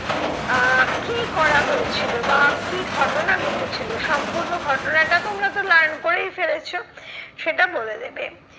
আহ কি করা হয়েছিল বা কি ঘটনা ঘটেছিলো সম্পূর্ণ ঘটনাটা তোমরা তো learn করেই ফেলেছো। সেটা বলে দেবে।